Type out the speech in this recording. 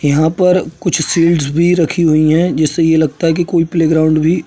यहाँ पर कुछ शील्डस भी रखी हुई हैं जिससे ये लगता है कि कोई प्लेग्राउंड भी --